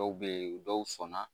Dɔw bɛ yen dɔw sɔnna